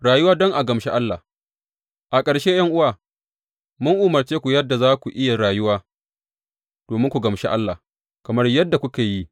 Rayuwa don a gamshi Allah A ƙarshe, ’yan’uwa, mun umarce ku yadda za ku yi rayuwa domin ku gamshi Allah, kamar yadda kuke yi.